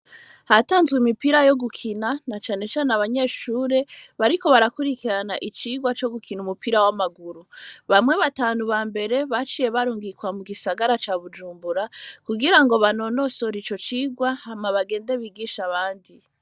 Hatanzwe imipira yo gukina nacane cane abanyeshuri ariko barakurikirana icirwa co gukina umupira w'amaguru bamwe batanu bambere baciye barungikwa mu gisagara ca Bujumbura kigirango banonosore ico cirwa hama begende bigishe abandi.